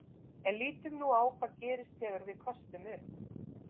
En lítum nú á hvað gerist þegar við köstum upp.